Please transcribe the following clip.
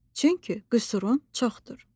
Çünki qüsurun çoxdur.